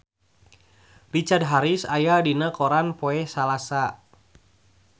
Richard Harris aya dina koran poe Salasa